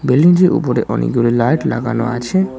বিল্ডিংটির উপরে অনেকগুলি লাইট লাগানো আছে।